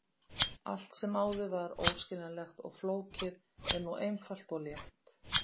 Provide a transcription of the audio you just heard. Allt sem áður var óskiljanlegt og flókið er nú einfalt og létt.